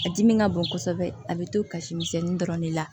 A dimi ka bon kosɛbɛ a bɛ to kasimisɛnnin dɔrɔn de la